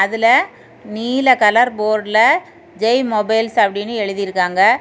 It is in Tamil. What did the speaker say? அதுல நீல கலர் போர்டுல ஜெய் மொபைல்ஸ் அப்படின்னு எழுதி இருக்காங்க.